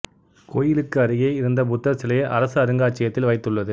கோயிலுக்கு அருகே இருந்த புத்தர் சிலையை அரசு அருங்காட்சியத்தில் வைத்துள்ளது